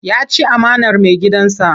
Ya ci amanar maigidansa.